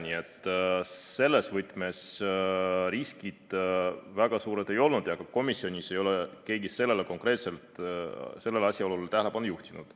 Nii et selles võtmes riskid väga suured ei ole ja ka komisjonis ei ole keegi konkreetselt sellele asjaolule tähelepanu juhtinud.